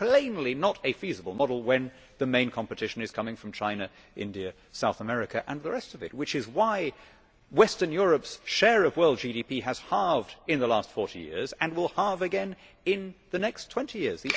It is plainly not a feasible model when the main competition is coming from China, India, South America and the rest of it, which is why western Europe's share of world GDP has halved in the last 40 years and will halve again in the next 20 years.